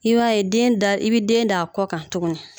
I b'a ye den da i bɛ den d'a kɔ kan tuguni